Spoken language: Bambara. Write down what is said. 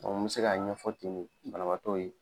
n be se k'a ɲɛfɔ ten de banabaatɔw ye.